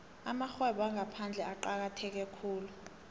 amarhwebo wangaphandle acakatheke khulu